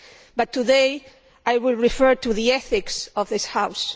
But today I will refer to the ethics of this House.